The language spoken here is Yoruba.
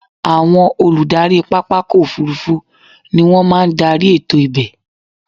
Àwọn Olùdarí pápákọ̀ òfurufú ni wọ́n máa ń darí ètò ibẹ̀.